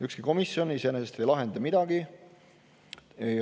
Ükski komisjon iseenesest ei lahenda midagi.